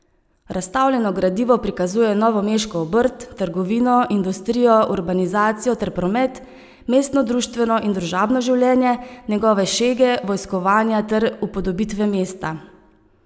Razstavljeno gradivo prikazuje novomeško obrt, trgovino, industrijo, urbanizacijo ter promet, mestno društveno in družabno življenje, njegove šege, vojskovanja ter upodobitve mesta.